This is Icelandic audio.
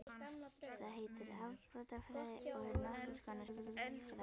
Það heitir afbrotafræði og er nokkurs konar sálfræði.